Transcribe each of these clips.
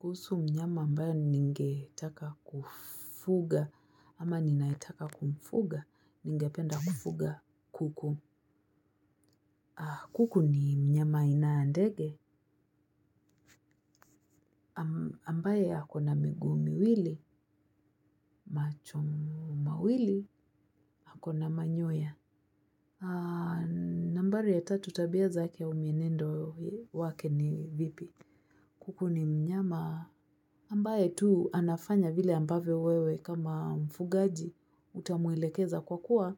Kuhusu mnyama ambaye ningetaka kufuga ama ninayetaka kumfuga ningependa kufuga kuku. Kuku ni mnyama aina ya ndege ambaye ako na miguu miwili macho mawili ako na manyoya. Nambari ya tatu tabia zake au mienendo wake ni vipi. Kuku ni mnyama ambaye tuu anafanya vile ambavyo wewe kama mfugaji utamwelekeza kwa kuwa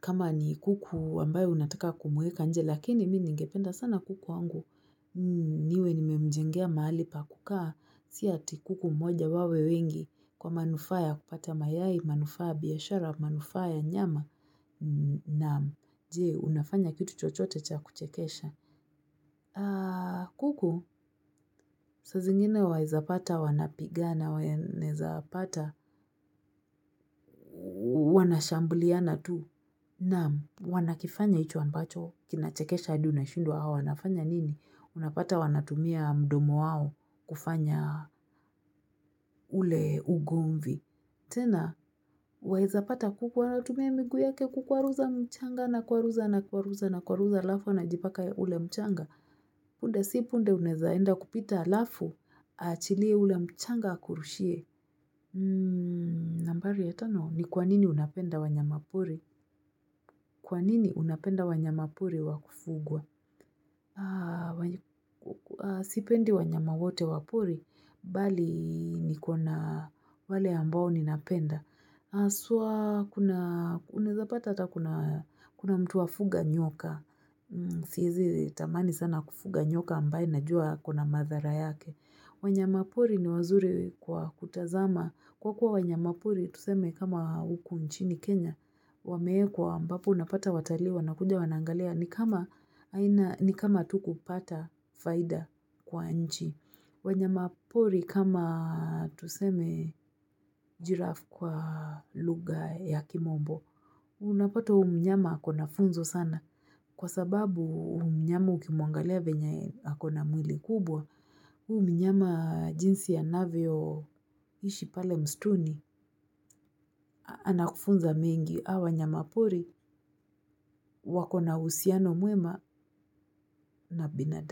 kama ni kuku ambaye unataka kumweka nje lakini mini ningependa sana kuku wangu niwe nimemjengea mahali pa kukaa si ati kuku mmoja wawe wengi kwa manufaa ya kupata mayai manufaa ya biashara manufaa ya nyama na jee unafanya kitu chochote cha kuchekesha. Kuku, saa zingine waeza pata, wanapigana, wa naeza pata, wanashambuliana tu. Nam, wanakifanya hicho ambacho, kinachekesha hadi unashindwa hawa, wanafanya nini? Unapata wanatumia mdomo wao kufanya ule ugomvi. Tena, waeza pata kuku, anatumia miguu yake kukuwaruza mchanga anakwaruza anakwaruza anakwaruza halafu anajipaka ule mchanga. Punde si punde uneza enda kupita halafu, aachilie ule mchanga akurushie. Nambari ya tano, ni kwa nini unapenda wanyama pori? Kwa nini unapenda wanyama pori wakufugwa? Sipendi wanyama wote wa pori, bali niko na wale ambao ninapenda. Uneza pata hata kuna mtu afuga nyoka. Siezi tamani sana kufuga nyoka ambaye najua kuna madhara yake. Wanyama pori ni wazuri kwa kutazama. Kwa kuwa wanyama pori tuseme kama huku nchini Kenya Wameekwa ambapo unapata watalii wanakuja wanaangalia. Ni kama tu kupata faida kwa nchi. Wanyama pori kama tuseme giraffe kwa lugha ya kimombo. Unapata huyu mnyama ako na funzo sana. Kwa sababu huyu mnyama ukimwangalia venye akona mwili kubwa, huyu mnyama jinsi anavyoishi pale mstuni, anakufunza mengi hawa wanyama pori, wako na uhusiano mwema na binadamu.